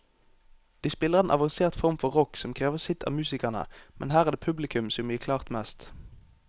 De spiller en avansert form for rock som krever sitt av musikerne, men her er det publikum som gir klart mest.